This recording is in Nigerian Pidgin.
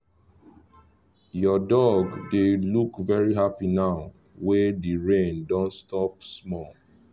your dog dey look very happy now wey the rain don stop small